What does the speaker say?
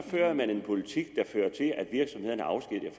en politik der fører til at virksomhederne afskediger